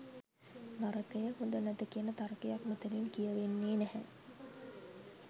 නරකය, හොඳ නැත කියන තර්කයක් මෙතතින් කියවෙන්නේ නැහැ.